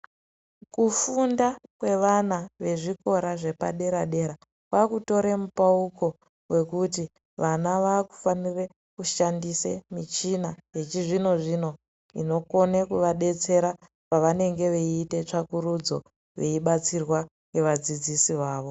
Kufunda kwevana vezvikora zvepadera dera kwaakutore mupauko wekuti vana vaakufanire kushandise michina yechizvino zvino inokone kuvadetsera pavanenge veiite tsvakurudzo veibatsirwa ngevadzidzisi vavo.